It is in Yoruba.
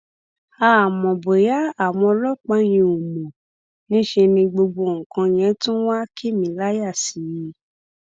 àmọ bóyá àwọn ọlọpàá yẹn ò mọ níṣẹ ni gbogbo nǹkan yẹn tún wáá kì mí láyà sí i